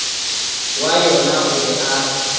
wa yona o be a